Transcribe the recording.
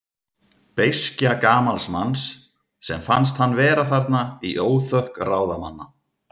Beiskja gamals manns, sem fannst hann vera þarna í óþökk ráðamanna.